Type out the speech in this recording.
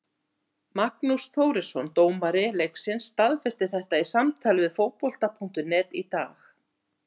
Magnús Þórisson dómari leiksins staðfesti þetta í samtali við Fótbolta.net í dag.